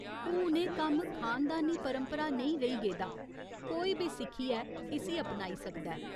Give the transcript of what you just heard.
हुन एह् कम्म खानदानी परंपरा नेईं रेही गेदा, कोई बी सिक्खियै इस्सी अपनाई सकदा ऐ।